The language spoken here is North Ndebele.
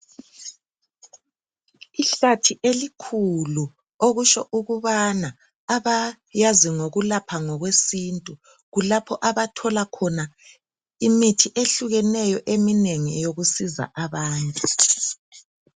Ihlathi elikhulu okutsho ukubana abayazi ngokulapha ngokwesintu kulapho abathola khona imithi ehlukeneyo eminengi eyokusiza abantu.